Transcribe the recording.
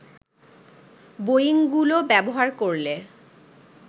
বোয়িংগুলো ব্যবহার করলে